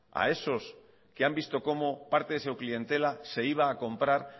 a esos que han visto como parte de su clientela se iba a comprar